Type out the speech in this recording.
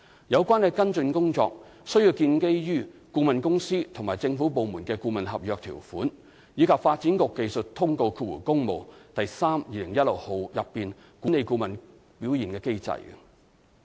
有關跟進工作需要建基於顧問公司與政府部門的顧問合約條款，以及《發展局技術通告第 3/2016 號》內管理顧問表現的機制。